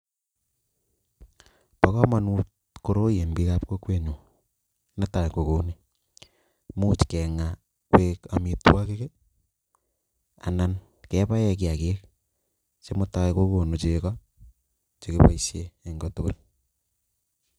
Pa kamanut koroi Eng piik ab kokwet nyuun Netai kokouni imuchi kengaaa akoek amitwagik anan kebaee kiagiik sigokon chego